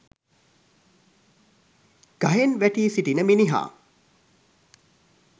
ගහෙන් වැටී සිටින මිනිහා